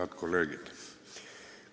Head kolleegid!